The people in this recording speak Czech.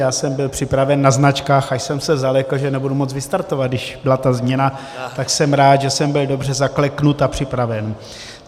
Já jsem byl připraven na značkách, až jsem se zalekl, že nebudu moct vystartovat, když byla ta změna, tak jsem rád, že jsem byl dobře zakleknut a připraven.